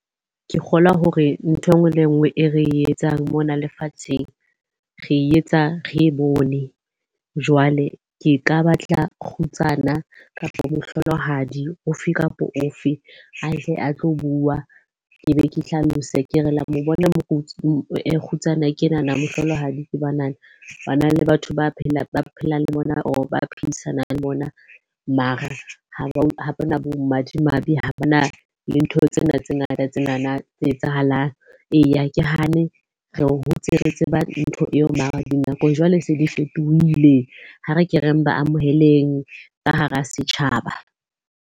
Ke kgolwa hore nthwe e nngwe le e nngwe e re etsang mona lefatsheng, re etsa re e bone. Jwale ke ka batla kgutsana kapa mohlolohadi o fe kapa o fe a tle a tlo bua. Ke be ke hlalose ke re, la mo bona ke enana, mohlolohadi ke banana. Bana le batho ba phelang le bona or ba phedisanang le bona. Mara ha ba bo madimabe, ha bana le ntho tsena tse ngata tsenana tse etsahalang. Eya, ha ke hane re hotse re tseba ntho eo mara dinakong jwale se di fetohile. Ha re ke re amoheleng ka hara setjhaba.